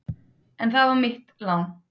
En það var mitt lán.